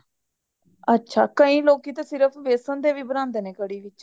ਅੱਛਾ ਕਈ ਲੋਕੀ ਤੇ ਸਿਰਫ ਬੇਸਨ ਦੇ ਵੀ ਬਾਨਾਂਦੇ ਨੇ ਕੜੀ ਵਿੱਚ